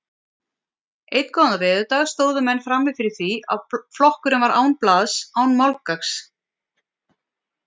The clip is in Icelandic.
Einn góðan veðurdag stóðu menn frammi fyrir því að flokkurinn var án blaðs, án málgagns.